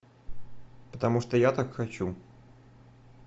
потому что я так хочу